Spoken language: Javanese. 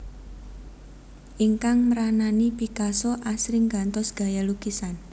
Ingkang mranani Picasso asring gantos gaya lukisan